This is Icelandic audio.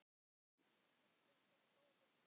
En einnig komu góðir tímar.